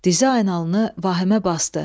Dizaynalını vahimə basdı.